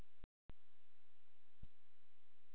Sá sem kippi af okkur teppinu muni öskra.